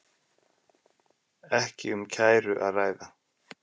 Ekki um kæru að ræða